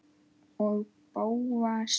Og Bóas.